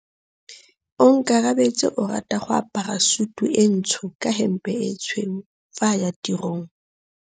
Onkabetse o rata go apara sutu e ntsho ka hempe e tshweu fa a ya tirong.